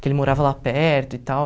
que ele morava lá perto e tal.